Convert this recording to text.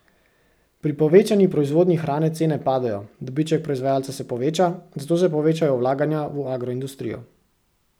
Pri povečani proizvodnji hrane cene padejo, dobiček proizvajalca se poveča, zato se povečajo vlaganja v agroindustrijo.